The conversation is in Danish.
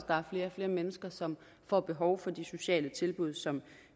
der er flere og flere mennesker som får behov for de sociale tilbud som